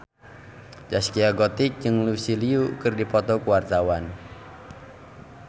Zaskia Gotik jeung Lucy Liu keur dipoto ku wartawan